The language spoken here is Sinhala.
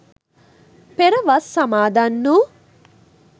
පෙර වස් සමාදන් වූ